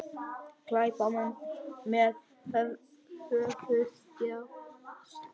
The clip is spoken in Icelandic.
Glæpamenn með höfuðdjásn